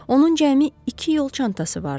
Onun cəmi iki yol çantası vardı.